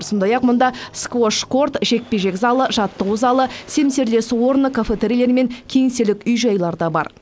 сондай ақ мұнда сквош корт жекпе жек залы жаттығу залы семсерлесу орны кафетериилер мен кеңселік үй жайлары да бар